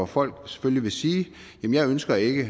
folk selvfølgelig vil sige jeg ønsker ikke